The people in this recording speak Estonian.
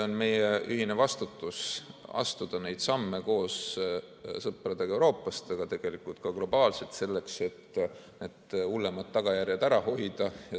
On meie ühine vastutus astuda neid samme koos sõpradega Euroopast, aga tegelikult ka globaalselt, selleks et hullemad tagajärjed ära hoida.